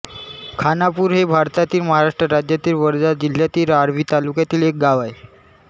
खाणापूर हे भारतातील महाराष्ट्र राज्यातील वर्धा जिल्ह्यातील आर्वी तालुक्यातील एक गाव आहे